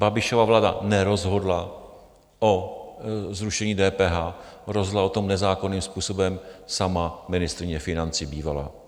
Babišova vláda nerozhodla o zrušení DPH, rozhodla o tom nezákonným způsobem sama ministryně financí bývalá.